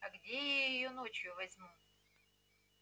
а где я её ночью возьму